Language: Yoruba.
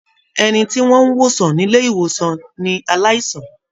Ẹni tí wọ́n n wosan nilé-ìwòsàn ní aláìsàn.